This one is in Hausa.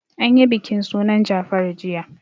An yi bikin sunan Jafaru jiya.